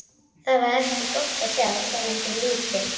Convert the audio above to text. Það er ekki gott að sjá hverjum þú líkist.